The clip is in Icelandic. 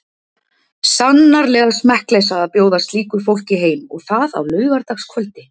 Sannarleg smekkleysa að bjóða slíku fólki heim og það á laugardagskvöldi.